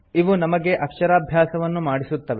ಇವು ನಮಗೆ ಅಕ್ಷರಾಭ್ಯಾಸವನ್ನು ಮಾಡಿಸುತ್ತವೆ